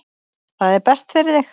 Það er best fyrir þig.